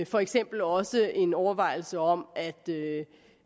for eksempel også en overvejelse om at